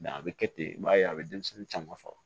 a bɛ kɛ ten i b'a ye a bɛ denmisɛnnin caman faga